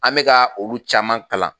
An bɛka olu caman kalan